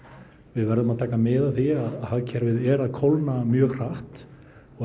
við verðum að taka mið af því að hagkerfið er að kólna mjög hratt og